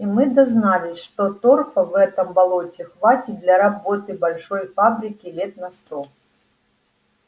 и мы дознались что торфа в этом болоте хватит для работы большой фабрики лет на сто